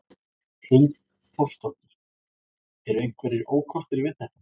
Hrund Þórsdóttir: Eru einhverjir ókostir við þetta?